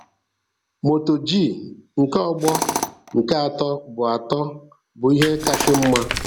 Moto G nke ọgbọ nke atọ bụ atọ bụ ihe kasị mma.